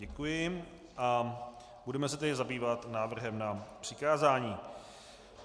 Děkuji a budeme se tedy zabývat návrhem na přikázání.